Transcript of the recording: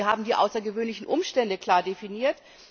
Wir haben die außergewöhnlichen Umstände klar definiert.